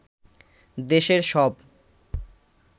দেশের সব